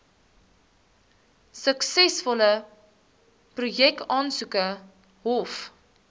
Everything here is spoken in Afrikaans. suksesvolle projekaansoeke hoef